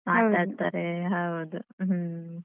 ಮಾತಾಡ್ತಾರೆ ಹೌದು ಹ್ಮ್ ಮತ್ತೆ.